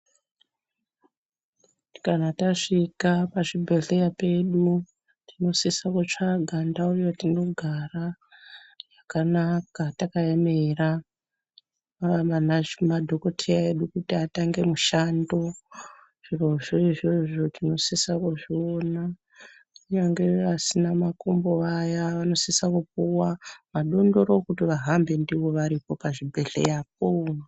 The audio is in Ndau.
Kana tasvika pazvibhedhlera pedu tinosise kutsvaga ndau yatinogara yakanaka takaemera madhokodheya edu kuti atange mushando. Izvozvo tinosise kuzviona kunyange vasina makumbo vaya vanosise kupuwa madondoro ekuti vahambe ndiwo pachibhedhlera po.